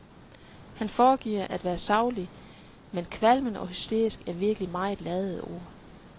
Han foregiver at være saglig, men kvalmende og hysterisk er virkelig meget ladede ord.